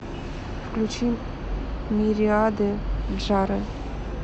включи мириады джары